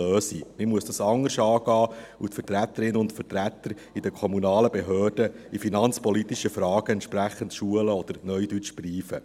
Man muss dies anders angehen und die Vertreterinnen und Vertreter in kommunalen Behörden in finanzpolitischen Fragen entsprechend schulen oder, zu Neudeutsch, «briefen».